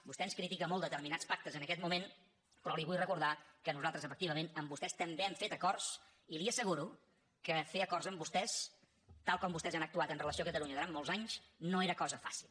vostè ens critica molt determinats pactes en aquest moment però li vull recordar que nosaltres efectivament amb vostès també hem fet acords i li asseguro que fer acords amb vostès tal com vostès han actuat amb relació a catalunya durant molts anys no era cosa fàcil